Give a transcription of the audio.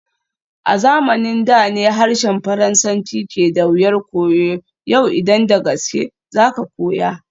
A zamanin da ne harshen Faransanci ke da wuyar koyo, yau idan da gaske za ka koya.